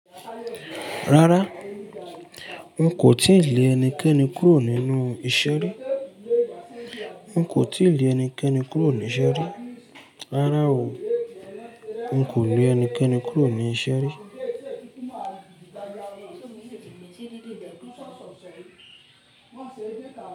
Rárá, n kò tíì lè ẹnikẹ́ni kúrò nínú iṣẹ́ rí. N kò tíì lè ẹnikẹ́ni kúrò ní iṣẹ́ rí. Rárá o. N kò lè ẹnikẹ́ni kúrò ní iṣẹ́ rí.